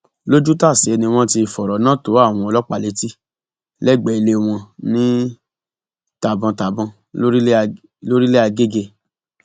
lójútàsé ni wọn ti fọrọ náà tó àwọn ọlọpàá létí lẹgbẹẹ ilé wọn ní tàbọntàbọn lọrílẹ àgègè